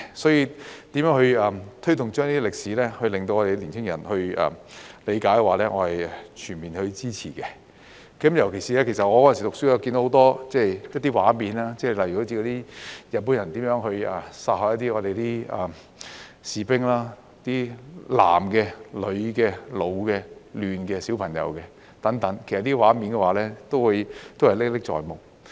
所以，如何推動這些歷史令到年輕人理解，我是全面支持的。尤其是我讀書的時候看到的一些畫面，例如日本人如何殺害我們的士兵，男的、女的、老的、嫩的、小朋友等，這些畫面都歷歷在目。